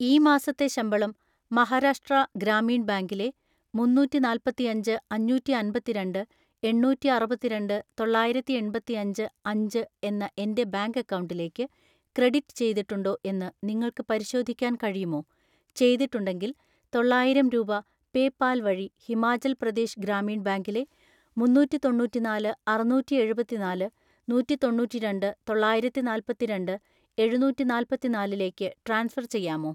ഈ മാസത്തെ ശമ്പളം മഹാരാഷ്ട്ര ഗ്രാമീൺ ബാങ്കിലെ മുന്നൂറ്റിനാല്പത്തിഅഞ്ച് അഞ്ഞൂറ്റിഅൻപത്തിരണ്ട് എണ്ണൂറ്റിഅറുപത്തിരണ്ട്‍ തൊള്ളായിരത്തിഎൺപത്തിഅഞ്ച് അഞ്ച് എന്ന എൻ്റെ ബാങ്ക് അക്കൗണ്ടിലേക്ക് ക്രെഡിറ്റ് ചെയ്തിട്ടുണ്ടോ എന്ന് നിങ്ങൾക്ക് പരിശോധിക്കാൻ കഴിയുമോ, ചെയ്തിട്ടുണ്ടെങ്കിൽ തൊള്ളായിരം രൂപ പേയ്പാൽ വഴി ഹിമാചൽ പ്രദേശ് ഗ്രാമീൺ ബാങ്കിലെ മുന്നൂറ്റിതൊണ്ണൂറ്റിനാല് അറുനൂറ്റിഎഴുപത്തിനാല് നൂറ്റിതൊണ്ണൂറ്റിരണ്ട്‍ തൊള്ളായിരത്തിനാല്പത്തിരണ്ട്‍ എഴുനൂറ്റിനാല്പതിനാലിലേക്ക് ട്രാൻസ്ഫർ ചെയ്യാമോ?